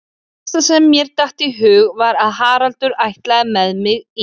Það helsta sem mér datt í hug var að Haraldur ætlaði með mig í